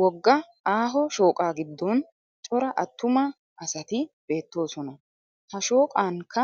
Wogga aaho shooqaa giddon cora attuma asati beettoosona. Ha shooqankka